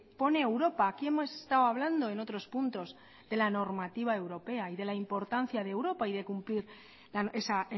pone europa aquí hemos estado hablando en otros puntos de la normativa europea y de importancia de europa y de cumplir esa